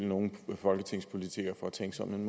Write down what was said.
nogen folketingspolitikere for at tænke sådan